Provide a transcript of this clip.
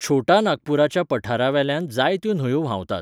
छोटा नागपूराच्या पठारावेल्यान जायत्यो न्हंयो व्हांवतात.